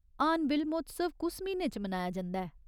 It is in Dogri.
हार्नबिल महोत्सव कुस म्हीने च मनाया जंदा ऐ ?